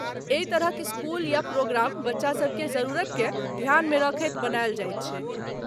एहि तरहक स्कूल या प्रोग्राम बच्चा सभकेँ जरुरतकेँ ध्यानमे रखैत बनायल जाइत छै।